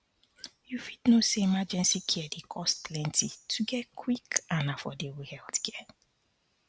you fit know say emergency care dey cost plenty to get quick and affordable healthcare